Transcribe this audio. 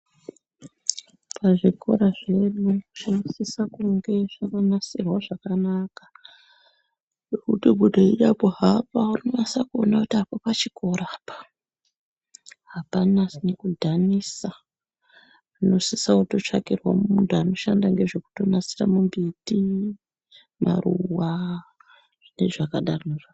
Pazvikora zvedu zvinosise kunge zvakagadzirwa zvakanaka zvekuti kunyange weinyambo hamba unonase kuona kuti a apo pachikora apo hapanasi kudhanisa munosise kutsvakirwe munhu unonasire mimbiti maruwa nezvakadarozvo.